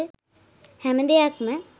හැම දෙයක්ම